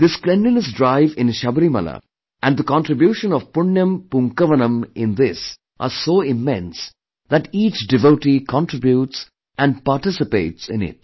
This cleanliness drive in Sabrimala and the contribution of Punyan Poonkavanam in this are so immense that each devotee contributes and participates in it